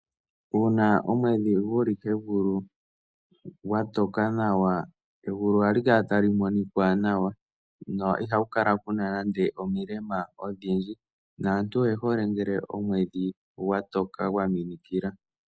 Uuna omwedhi gu li kegulu gwa toka nawa, egulu ohali kala tali monika nawa no ihagu kala ku na nande omilema odhindji naantu oye hole ngele omwedhi gwa toka gwa minikila.